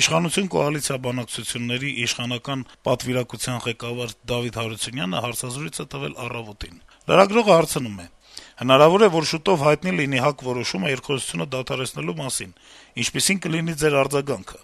Իշխանություն - կոալիցիա բանակցությունների իշխանական պատվիրակության ղեկավար Դավիթ Հարությունյանը հարցազրույց է տվել «Առավոտ»-ին: Լրագրողը հարցնում է. - «Հնարավոր է, որ շուտով հայտնի լինի ՀԱԿ որոշումը` երկխոսությունը դադարեցնելու մասին: Ինչպիսի՞ն կլինի Ձեր արձագանքը,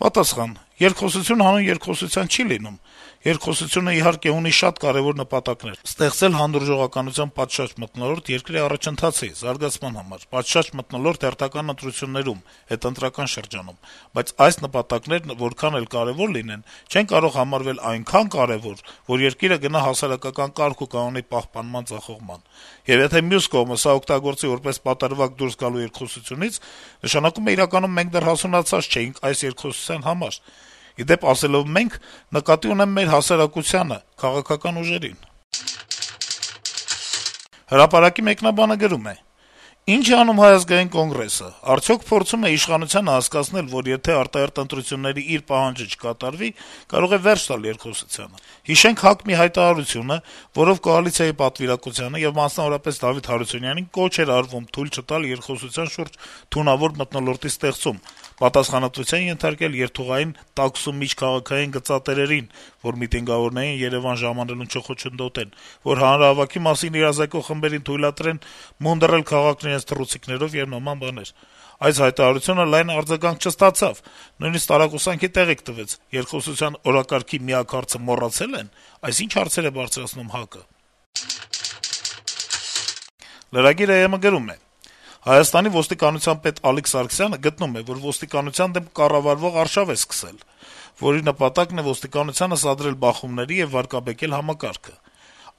եթե ՀԱԿ-ն իրոք կայացնի նման որոշում»: Պատասխան. - «Երկխոսություն հանուն երկխոսության չի լինում: Երկխոսությունն իհարկե ունի շատ կարեւոր նպատակներ` ստեղծել հանդուրժողականության պատշաճ մթնոլորտ երկրի առաջընթացի, զարգացման համար, պատշաճ մթնոլորտ հերթական ընտրություններում, հետընտրական շրջանում: Բայց այս նպատակներն որքան էլ կարեւոր լինեն` չեն կարող համարվել այնքա~ն կարեւոր, որ երկիրը գնա հասարակական կարգ ու կանոնի պահպանման ձախողման: Եվ եթե մյուս կողմը սա օգտագործի որպես պատրվակ` դուրս գալու երկխոսությունից, նշանակում է, իրականում մենք դեռեւս հասունացած չէինք այս երկխոսության համար: Ի դեպ, ասելով «մենք»` նկատի ունեմ մեր հասարակությանը, քաղաքական ուժերին»: «Հրապարակ»-ի մեկնաբանը գրում է. - «Ի՞նչ է անում ՀԱԿ-ը: Արդյոք փորձում է իշխանությանը հասկացնել, որ եթե արտահերթ ընտրությունների իր պահանջը չկատարվի, կարող է վե՞րջ տալ երկխոսությանը: Հիշենք ՀԱԿ հայտարարությունը, որով կոալիցիայի պատվիրակությանը եւ մասնավորապես Դավիթ Հարությունյանին կոչ էր արվում թույլ չտալ երկխոսության շուրջ թունավոր մթնոլորտի ստեղծում, պատասխանատվության ենթարկել երթուղային տաքսու միջքաղաքային գծատերերին, որ միտինգավորների Երեւան ժամանելուն չխոչընդոտեն, որ հանրահավաքի մասին իրազեկող խմբերին թույլատրեն մունդռել քաղաքն իրենց թռուցիկներով եւ նման բաներ: Այս հայտարարությունը լայն արձագանք չստացավ, նույնիսկ տարակուսանքի տեղիք տվեց` երկխոսության օրակարգի միակ հարցը մոռացել են, այս ի՞նչ հարցեր է բարձրացնում ՀԱԿ-ը»: Lragir.am-ը գրում է. - «Հայաստանի ոստիկանության պետ Ալիկ Սարգսյանը գտնում է, որ ոստիկանության դեմ կառավարվող արշավ է սկսել, որի նպատակն է ոստիկանությանը սադրել բախումների եւ վարկաբեկել համակարգը: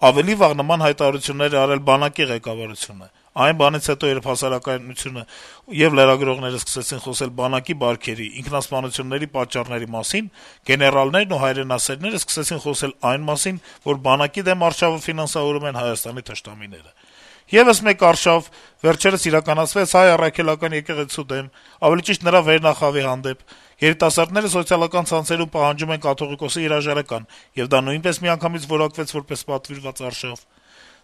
Ավելի վաղ նման հայտարարություններ է արել բանակի ղեկավարությունը: Այն բանից հետո, երբ հասարակայնությունը եւ լրագրողները սկսեցին խոսել բանակի բարքերի, «ինքնասպանությունների» պատճառների մասին, գեներալներն ու «հայրենասերները» սկսեցին խոսել այն մասին, որ բանակի դեմ արշավը ֆինանսավորում են Հայաստանի թշնամիները: Եվս մեկ «արշավ» վերջերս իրականացվեց Հայ Առաքելական եկեղեցու, ավելի ճիշտ` նրա վերնախավի հանդեպ: Երիտասարդները սոցիալական ցանցերում պահանջում են կաթողիկոսի հրաժարական, եւ դա նույնպես միանգամից որակվեց որպես պատվիրված արշավ: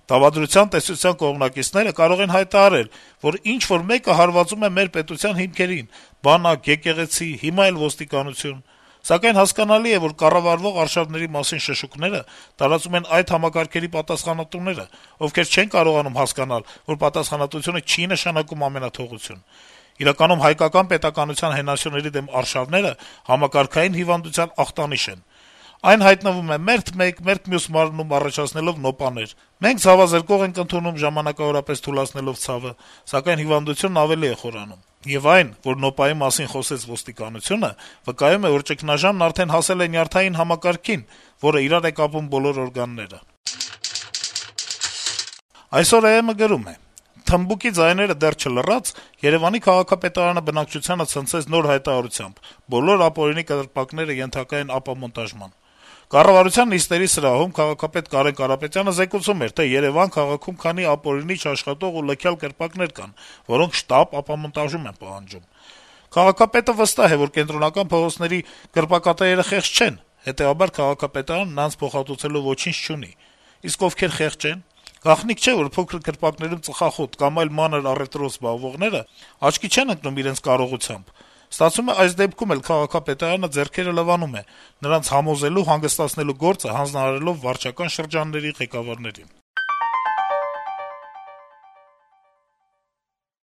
Դավադրության տեսության կողմնակիցները կարող են հայտարարել, որ ինչ-որ մեկը հարվածում է մեր պետության հիմքերին` բանակ, եկեղեցի, հիմա էլ ոստիկանություն: Սակայն, հասկանալի է, որ կառավարվող արշավների մասին շշուկները տարածում են այդ համակարգերի պատասխանատուները, ովքեր չեն կարողանում հասկանալ, որ պատասխանատվությունը չի նշանակում ամենաթողություն: Իրականում, հայկական պետականության հենասյուների դեմ «արշավները» համակարգային հիվանդության ախտանիշ են: Այն հայտնվում է մերթ մեկ, մերթ մյուս մարմնում, առաջացնելով նոպաներ: Մենք ցավազրկող ենք ընդունում, ժամանակավորապես թուլացնելով ցավը, սակայն հիվանդությունն ավելի է խորանում: Եվ այն, որ «նոպայի» մասին խոսեց ոստիկանությունը, վկայում է, որ ճգնաժամն արդեն հասել է նյարդային համակարգին, որը իրար է կապում բոլոր օրգանները»: Aysor.am-ը գրում է. - «Թմբուկի» ձայները դեռ չլռած, Երեւանի քաղաքապետարանը բնակչությանը ցնցեց նոր հայտարարությամբ` բոլոր ապօրինի կրպակները ենթակա են ապամոնտաժման: Կառավարության նիստերի սրահում քաղաքապետ Կարեն Կարապետյանը զեկուցում էր, թե Երեւան քաղաքում քանի ապօրինի, չաշխատող ու լքյալ կրպակներ կան, որոնք շտապ ապամոնտաժում են պահանջում: Քաղաքապետը վստահ է, որ կենտրոնական փողոցների կրպակատերերը խեղճ չեն, հետեւաբար քաղաքապետարանը նրանց փոխհատուցելու ոչինչ չունի: Իսկ ովքեր խեղճ ե՞ն, գաղտնիք չէ, որ փոքրիկ կրպակներում ծխախոտ կամ այլ մանր առեւտրով զբաղվողները աչքի չեն ընկնում իրենց կարողությամբ: Ստացվում է` այս դեպքում էլ է քաղաքապետարանը «ձեռքերը լվանում»` նրանց համոզելու, հանգստացնելու գործը հանձնարարելով վարչական շրջանների ղեկավարներին»: